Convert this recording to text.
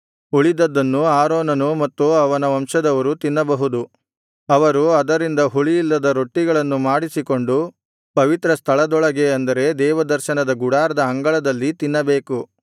ಉಳಿದದ್ದನ್ನು ಆರೋನನೂ ಮತ್ತು ಅವನ ವಂಶದವರೂ ತಿನ್ನಬಹುದು ಅವರು ಅದರಿಂದ ಹುಳಿಯಿಲ್ಲದ ರೊಟ್ಟಿಗಳನ್ನು ಮಾಡಿಸಿಕೊಂಡು ಪವಿತ್ರಸ್ಥಳದೊಳಗೆ ಅಂದರೆ ದೇವದರ್ಶನದ ಗುಡಾರದ ಅಂಗಳದಲ್ಲಿ ತಿನ್ನಬೇಕು